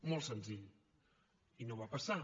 molt senzill i no va passar